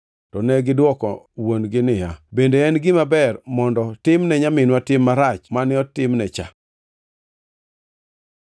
To negidwoko wuon-gi niya, “Bende en gima ber mondo timne nyaminwa tim marach mane otimne cha?”